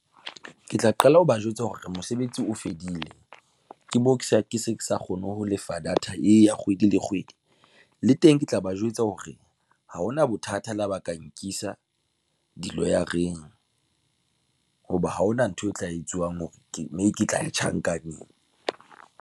Ke tla qala ho ba jwetsa hore mosebetsi o fedile, ke bo, ke sa, ke se ke sa kgone ho lefa data eya kgwedi le kgwedi le teng ke tla ba jwetsa hore ha hona bothata la ba ka nkisa di-lawyer-eng, hoba ha hona ntho e tla etsuwang hore ke mme ke tla tjhankaneng.